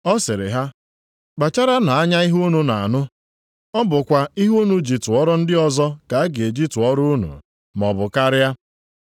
Ọ sịrị ha, “Kpacharanụ anya ihe unu na-anụ. Ọ bụkwa ihe unu ji tụọrọ ndị ọzọ ka a ga-eji tụọrọ unu, maọbụ karịa.